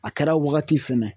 A kɛra wagati fɛnɛ